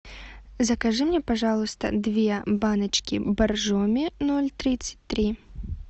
закажи мне пожалуйста две баночки боржоми ноль тридцать три